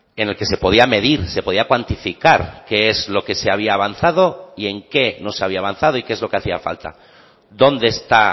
en el que se podía medir se podía cuantificar qué es lo que se había avanzado y en qué no se había avanzado y qué es lo que hacía falta dónde está